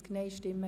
] Abs.